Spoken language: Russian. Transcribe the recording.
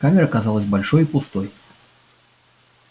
камера казалась большой и пустой